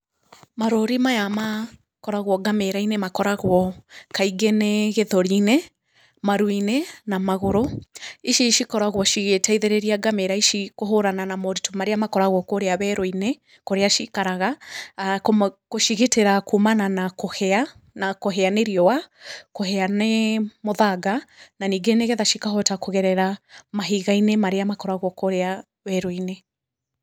Marũri maya makoragwo ngamĩra-inĩ makoragwo kaingĩ nĩ gĩthũri-inĩ, maru-inĩ, na magũrũ, ici cikoragwo cigĩteithĩrĩria ngamĩra ici kũhũrana na maũrĩtũ marĩa makoragwo kũũria werũ-inĩ, kũrĩa ciikaraga , gũcigitĩra kuumana na kũhĩa, na kũhĩa nĩ riũa, kũhĩa nĩ mũthanga, na ningĩ nĩ getha cikahota kũgerera mahiga-inĩ marĩa makoragwo kũũrĩa werũ-inĩ.